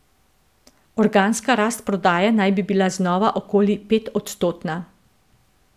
Organska rast prodaje naj bi bila znova okoli petodstotna.